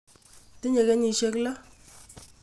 Tinye kenyisyek lo.